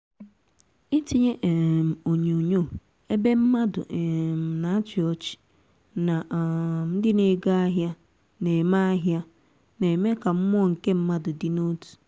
ịtinyé um onyonyo ébé mmádụ um nà áchi ọchị nà um ndị na ego ahịa na-eme ahịa na-eme ka mmụọ nke mmadụ dị n'otù